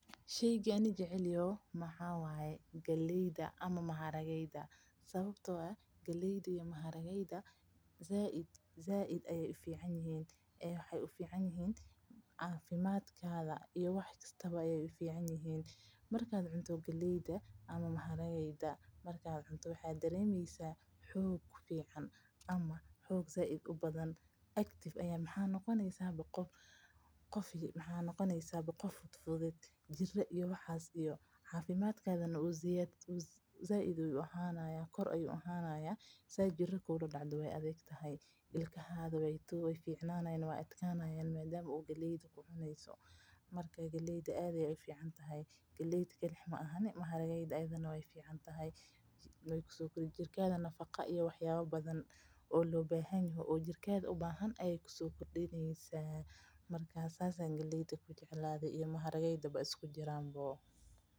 Sheyga aniga aan jeclahay waxaa waye galeyda ama digirta, cafimaadka ayeey ufican yihiin, xoog ayaa yelaneysa, waxaa noqoneysa qof fudfudud waxaa noqoneysa qof cafimaad leh, galeyda aad ayeey ufican tahay, jirkaada nafaqo iyo wax yaaba kale ayeey kusoo kordineysa.